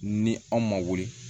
Ni aw ma wuli